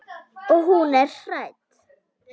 Og hún er hrædd.